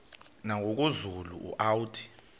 nangoku zulu uauthi